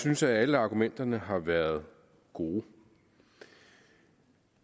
synes at alle argumenterne har været gode